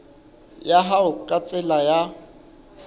ya hao ka tsela ya